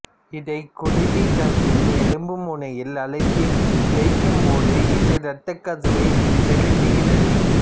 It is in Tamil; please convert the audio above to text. இதைக் குருதி கசியும் எலும்பு முனையில் அழுத்தித் தேய்க்கும் போது இது இரத்தக்கசிவை நிறுத்துகிறது